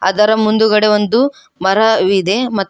ಅದರ ಮುಂದುಗಡೆ ಒಂದು ಮರವಿದೆ ಮತ್ತು--